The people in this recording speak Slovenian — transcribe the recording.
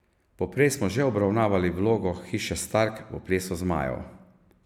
Poprej smo že obravnavali vlogo hiše Stark v plesu zmajev.